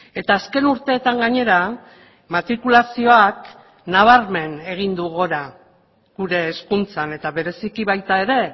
eta azken urteetan gainera matrikulazioak nabarmen egin du gora gure hezkuntzan eta bereziki baita ere